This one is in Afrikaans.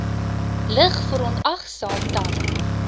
lig verontagsaam dan